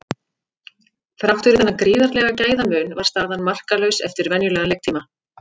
Þrátt fyrir þennan gríðarlega gæðamun var staðan markalaus eftir venjulegan leiktíma.